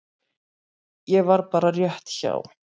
Ég var bara rétt hjá.